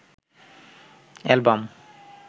album